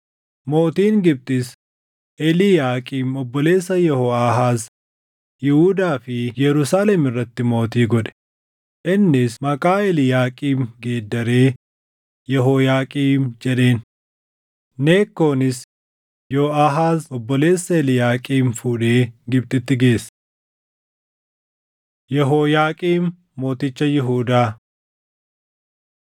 Mootiin Gibxis Eliiyaaqiim obboleessa Yehooʼaahaaz Yihuudaa fi Yerusaalem irratti mootii godhe; innis maqaa Eliiyaaqiim geeddaree Yehooyaaqiim jedheen. Nekkoonis Yoʼahaz obboleessa Eliiyaaqiim fuudhee Gibxitti geesse. Yehooyaaqiim Mooticha Yihuudaa 36:5‑8 kwf – 2Mt 23:36–24:6